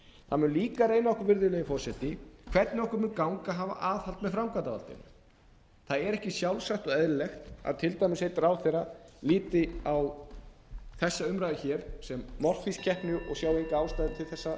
það mun líka reyna á okkur virðulegi forseti hvernig okkur mun ganga að hafa aðhald með framkvæmdarvaldinu það er ekki sjálfsagt og eðlilegt að til dæmis einn ráðherra líti á þessa ræðu sem morfískeppni og sjái enga ástæðu til þess